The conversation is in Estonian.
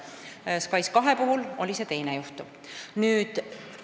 SKAIS2 puhul oli see teine variant.